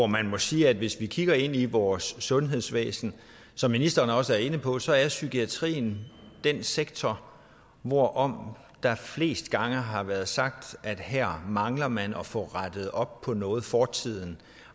man må sige at hvis vi kigger ind i vores sundhedsvæsen som ministeren også er inde på så er psykiatrien den sektor hvorom der flest gange har været sagt at her mangler man at få rettet op på noget fortiden